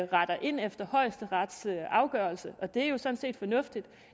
retter ind efter højesterets afgørelse og det er jo sådan set fornuftigt